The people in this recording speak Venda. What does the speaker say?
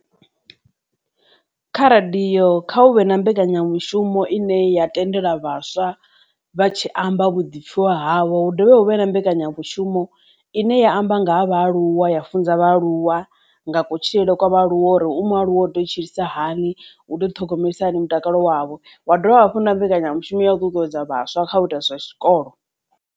Kha radio kha hu vhe na mbekanyamushumo ine ya tendela vhaswa vha tshi amba vhuḓipfiwa havho hu ḓovha hu vhe na mbekanyamushumo ine ya amba nga ha aluwa ya funza vhaaluwa nga kutshilele kwa vhaaluwa uri u mualuwa u to tshilisa hani u ḓo ṱhogomelisiwa hani mutakalo wavho wa dovha hafhu na mbekanyamushumo ya u ṱuṱuwedza vhaswa kha u ita zwa tshikolo.